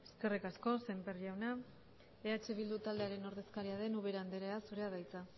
eskerrik asko sémper jauna eh bildu taldearen ordezkaria den ubera andrea zurea da hitza